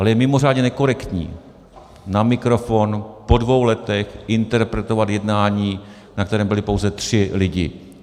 Ale je mimořádně nekorektní na mikrofon po dvou letech interpretovat jednání, na kterém byli pouze tři lidi.